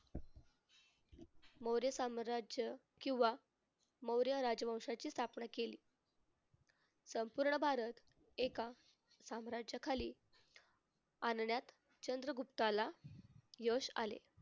मौर्य साम्राज्य किंवा मौर्य राजवंशाची स्थापना केली. संपूर्ण भारत एका साम्राज्याखाली आणण्यात चंद्रगुप्ताला यश आले.